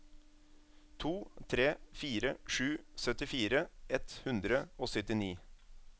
to tre fire sju syttifire ett hundre og syttini